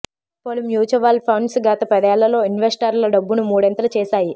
పలు mutual funds గత పదేళ్లలో ఇన్వెస్టర్ల డబ్బును మూడింతలు చేశాయి